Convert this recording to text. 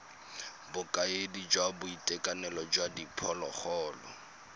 bokaedi jwa boitekanelo jwa diphologolo